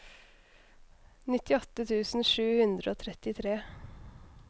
nittiåtte tusen sju hundre og trettitre